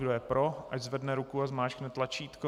Kdo je pro, ať zvedne ruku a zmáčkne tlačítko.